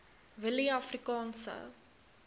willieafrikaanse